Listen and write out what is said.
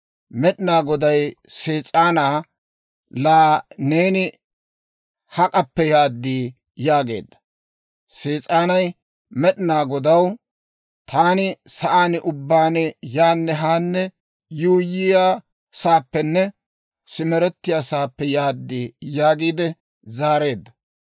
Med'inaa Goday Sees'aanaa, «Laa neeni hak'appe yaad?» yaageedda. Sees'aanay Med'inaa Godaw, «Taani sa'aan ubbaan yaanne haanne yuuyyiyaasaappenne simerettiyaasaappe yaad» yaagiide zaareedda.